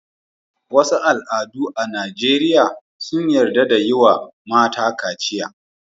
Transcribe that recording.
Wasu al'adu a Najeriya sun yarda da yi wa mata kaciya.